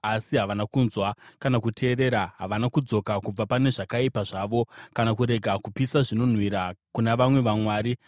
Asi havana kunzwa kana kuteerera: havana kudzoka kubva pane zvakaipa zvavo kana kurega kupisa zvinonhuhwira kuna vamwe vamwari.